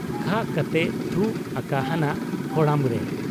ᱠᱷᱟᱜ ᱠᱟᱛᱮᱭ ᱛᱷᱩ ᱟᱠᱟᱦᱟᱱᱟ ᱠᱚᱲᱟᱢ ᱨᱮ ᱾